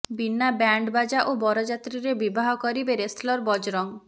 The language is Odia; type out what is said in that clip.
ବିନା ବ୍ୟାଣ୍ଡ ବାଜା ଓ ବରଯାତ୍ରୀରେ ବିବାହ କରିବେ ରେସଲର ବଜରଙ୍ଗ